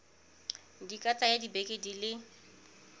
di ka tsaya dibeke di